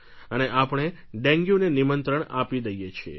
અને આપણે ડેન્ગ્યુને નિમંત્રણ આપી દઈએ છીએ